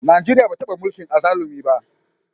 Najeriya ba a taba mulkin azzalumi ba.